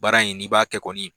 Baara in n'i b'a kɛ kɔni